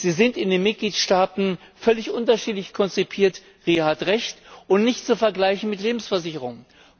Sie sind in den Mitgliedstaaten völlig unterschiedlich konzipiert, Ria hat Recht, und nicht zu vergleichen mit Lebensversicherungen.